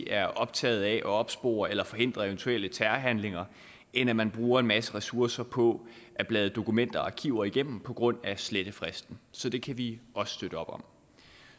er optaget af at opspore eller forhindre eventuelle terrorhandlinger end at man bruger en masse ressourcer på at bladre dokumenter og arkiver igennem på grund af slettefristen så det kan vi også støtte op om